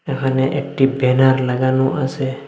এখানে একটি ব্যানার লাগানো আসে।